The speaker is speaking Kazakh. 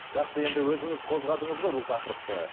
жақсы енді өзіңіз қозғадыңыз ғой бұл тақырыпты